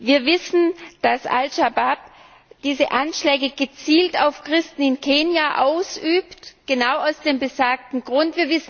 Wir wissen, dass asch Schabab diese Anschläge gezielt auf Christen in Kenia ausübt genau aus dem besagten Grund.